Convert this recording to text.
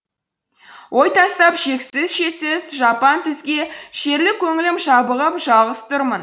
ой тастап шексіз шетсіз жапан түзге шерлі көңілім жабығып жалғыз тұрмын